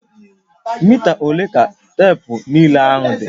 Mita ole ka teepu nlele ahụ dị?